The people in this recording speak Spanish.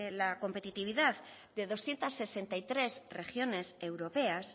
la competitividad de doscientos sesenta y tres regiones europeas